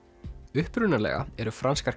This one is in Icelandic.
upprunalega eru franskar